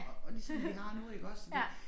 Og og ligesom vi har nu iggås så det